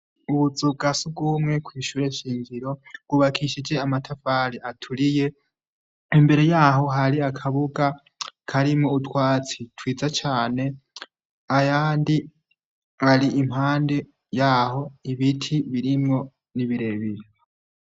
Utuzu twasugumwe tw' ishure shingiro, tw'ubakishije amatafari 'aturiye, imbere yaho hari akabuga karimwo utwatsi twiza cane, impande yaho hari ibiti ibirebire.